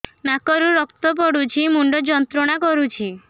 ନାକ ରୁ ରକ୍ତ ପଡ଼ୁଛି ମୁଣ୍ଡ ଯନ୍ତ୍ରଣା କରୁଛି